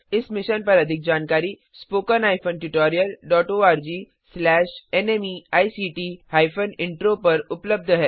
इस मिशन पर अधिक जानकारी spoken hyphen tutorial dot ORG slash NMEICT hyphen intro पर उपलब्ध है